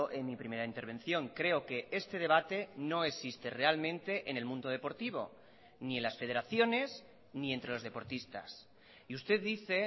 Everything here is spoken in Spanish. en mi primera intervención creo que este debate no existe realmente en el mundo deportivo ni en las federaciones ni entre los deportistas y usted dice